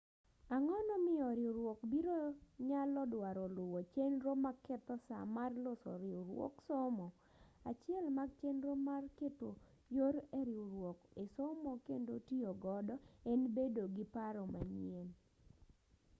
ang'onomiyo riwruok biro nyalo dwaro luwo chenro maketho saa mar loso riwruog somo achiel mag chenro mar keto yor eriwruok esomo kendo tiyogodo en bedo gi paro manyien